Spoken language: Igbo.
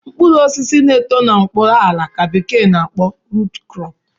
Mkpuru osisi na-eto n'okpuru ala ka bekee n'akpo root crop